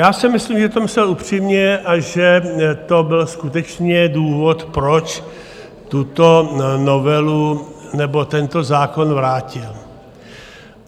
Já si myslím, že to myslel upřímně a že to byl skutečně důvod, proč tuto novelu nebo tento zákon vrátil.